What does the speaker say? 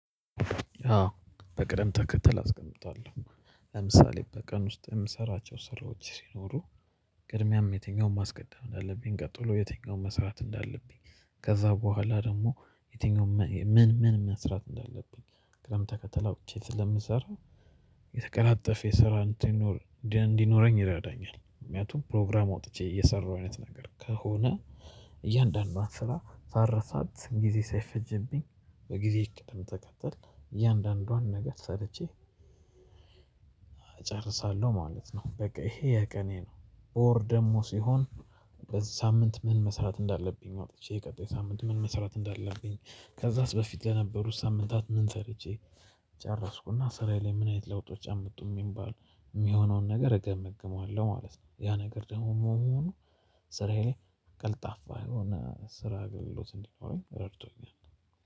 አዎ በቅደም ተከተል አስቀምጣለሁ። ለምሳሌ በቀን ውስጥ የምሰራቸው ስራዎች ሲኖሩ። ቅድሚያም የትኛውን ማስቀደም እንዳለብኝ ቀጥሎ የትኛውን መስራት እንዳለብኝ ከዛ በኋላ ደግሞ የትኛው ምን ምን መስራት እንዳለብኝ? ቅደም ተከተል አውጥቼ ስለምሰራው። የተቀላጠፈ የስራ እንዲኖረኝ ይረዳኛል ምክንያቱም ፕሮግራም አውጥቼ እየሰራሁ አይነት ነገር ከሆነ። እያንዳንዷን ስራ ሳረሳት ጊዜ ሳይፈጀብኝ በጊዜ ቅድም ተከተል እያንዳንዷን ነገር ሰርቼ እጨርሳለሁ ማለት ነው። በቃ ይሄ የቀኔ ነው። በወር ደግሞ ሲሆን በዚህ ሳምንት ምን መስራት እንዳለብኝ አውጥቼ ቀጣይ ሳምንት ምን መስራት እንዳለብኝ። ከዛስ በፊት ለነበሩት ሳምንታት ምን ሰርቼ ጨረስኩና ስራዬ ላይ ምን አይነት ለውጦች አምጡ የሚባል የሚሆነውን ነገር እገመግመዋለሁ። ማለት ነው። ያ ነገር ደግሞ መሆኑ ስራዬ ቀልጣፋ የሆነ ስራ አገልግሎት እንዲኖረኝ ረድቶኛል።